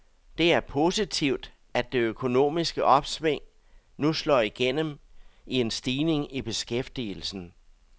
Det er positivt, at det økonomiske opsving nu slår igennem i en stigning i beskæftigelsen.